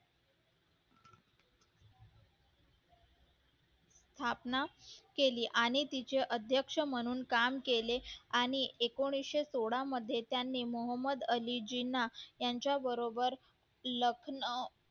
स्थापना केली आणि तिचे अध्यक्ष म्हणून काम केले आणि एकोणिशे सोहळा मध्ये त्यांनी त्यांच्याबरोबर